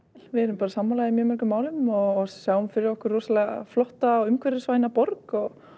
við erum bara sammála í mjög mörgum málum og sjáum fyrir okkur rosa flotta og umhverfisvæna borg og